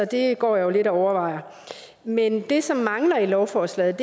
det går jeg jo lidt og overvejer men det som mangler i lovforslaget